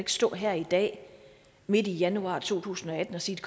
stå her i dag midt i januar to tusind og atten og sige